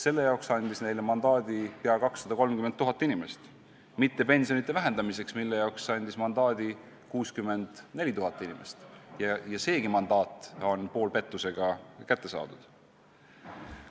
Selle jaoks andis neile mandaadi peaaegu 230 000 inimest, mitte pensionide vähendamiseks, mille jaoks andis mandaadi 64 000 inimest, ja seegi mandaat oli poolpettusega kätte saadud.